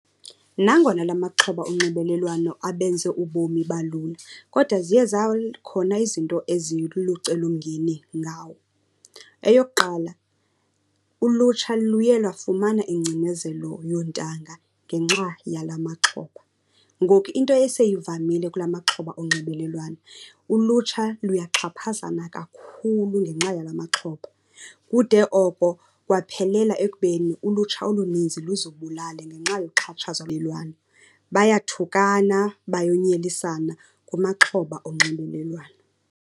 Nangona la maxhoba onxibelelwano abenze ubomi balula, kodwa ziye zakhona izinto ezilulucelomngeni ngawo. Eyokuqala, ulutsha luye lwafumana ingcinezelo yoontanga ngenxa yala maxhoba. Ngoku into eseyivamile kula maxhoba onxibelelwano, ulutsha luyaxhaphazana kakhulu ngenxa yala maxhoba. Kude oko kwaphelela ekubeni ulutsha oluninzi luzibulale ngenxa yoxhatshazwa . Bayathukana bayonyelisana kumaxhoba onxibelelwano.